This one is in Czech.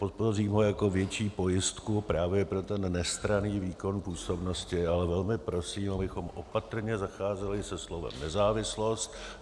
Podpořím ho jako větší pojistku právě pro ten nestranný výkon působnosti, ale velmi prosím, abychom opatrně zacházeli se slovem nezávislost.